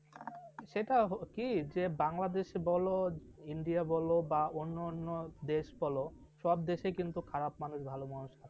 সেটা কি যে বাংলাদেশে বলো ইন্ডিয়া বলো বা অন্য অন্য দেশ বলো সব দেশে কিন্তু খারাপ মানুষ ভালো মানুষ আছে ।